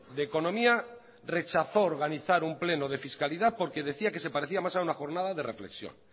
de economía rechazó organizar un pleno de fiscalidad porque decía que se parecía más a una jornada de reflexión